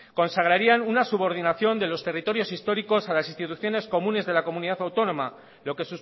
consagrarían una subordinación de los territorios históricos a las instituciones comunes de la comunidad autónoma lo que